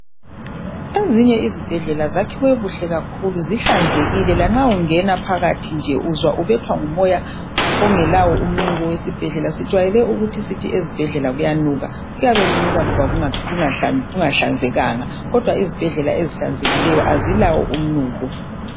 Ezinye izibhedlela zakhiwe kuhle kakhulu lanxa ungena phakathi uzwa ubethwa ngumoya ongelawo umnuko wesibhedlela. Sijayele ukuthi ezibhedlela kuyanuka, kuyabe kunika ngoba kungahlanzekanga. Kodwa izibhedlela ezihlanzekileyo azilawo umnuko.